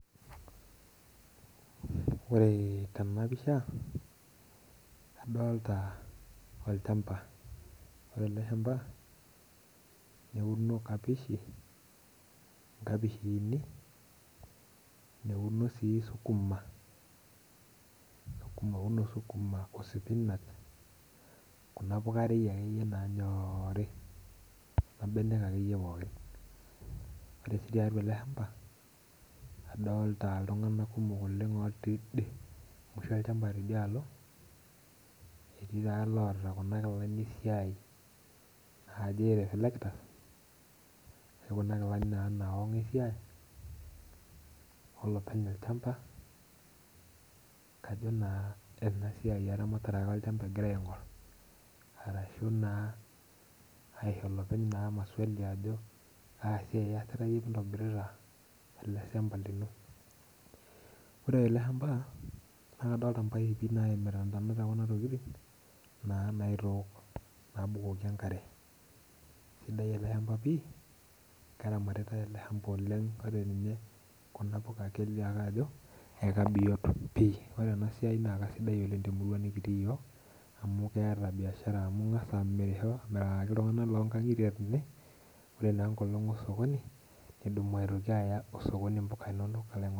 Ore tena pisha adolita olchampa ,ore ele shampa eunore nkapishini neuno suu sukuma osipinach Kuna puka ekeyie orie pookin Kuna benek akeyie nanyori. ore sii tiatua ele shamba adolita iltungank kumok otii idie musho olchampa tidialo ,etii taa loota Kuna kilani esiai naaji reflectors Kuna kilani naa nawang esiai olopeny olchampa kajo naa kena siai eramatare olchampa egira aingor, orashu shiritae naa olopeny maswali ajo kaji iyasita yie pee intobirita ele shampa lino. ore ele shampa naa kadolita mpaipi naimita ntonat ekuna tokiting naa naitok abukoki enkare ,esidai ele shampa pii kelio ake ajo keramatitae ore ninye Kuna puka naa kelio ajo ekibiot pi ,ore ena siai naa sidai oleng temurua nikitii yiok amu keeta biashara amu ingas amirisho, niyaki iltunganak loonkangitie tene ore enkolong esokoni nidumu aya osokoni mpuka inonok.